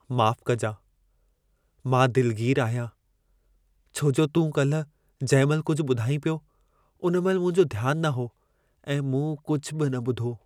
माफ़ कजां! मां दिलगीर आहियां छो जो तूं काल्ह जंहिं महिल कुझु ॿुधाईं पियो, उन महिल मुंहिंजो ध्यान न हो ऐं मूं कुझु बि न ॿुधो। (दोस्त 1 )